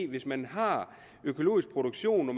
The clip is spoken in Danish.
hvis man har økologisk produktion og